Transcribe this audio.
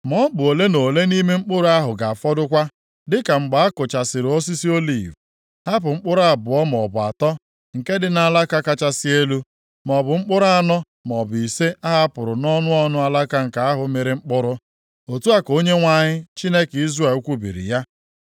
Ma ọ bụ ole na ole nʼime mkpụrụ ahụ ga-afọdụkwa, dịka mgbe a kuchasịrị osisi oliv, hapụ mkpụrụ abụọ maọbụ atọ, nke dị nʼalaka kachasị elu, maọbụ mkpụrụ anọ maọbụ ise a hapụrụ nʼọnụ ọnụ alaka nke ahụ mịrị mkpụrụ.” Otu a ka Onyenwe anyị, Chineke Izrel kwubiri ya.